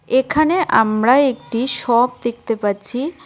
এখানে আমরা একটি শপ দেখতে পাচ্ছি।